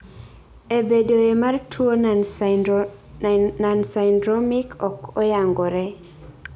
e bedoe mar tuo nonsyndromic ok oyangore